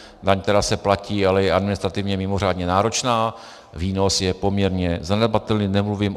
Daň, která se platí, ale je administrativně mimořádně náročná, výnos je poměrně zanedbatelný.